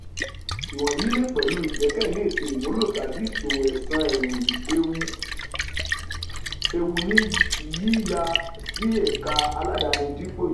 iwọnyi le pẹlu igbẹkẹle eto imulo tabi iṣowo-ẹsan eewu ni yiya si eka aladani dipo ijọba.